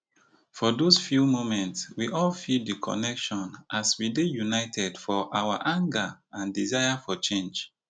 for dos few moments we all feel di connection as we dey united for our anger and desire for change